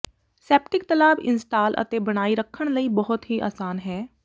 septic ਤਲਾਬ install ਅਤੇ ਬਣਾਈ ਰੱਖਣ ਲਈ ਬਹੁਤ ਹੀ ਆਸਾਨ ਹੈ